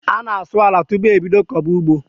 A na asụ àlà tupu e bídó koba ụgbọ